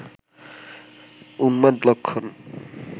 উন্মাদ লক্ষণ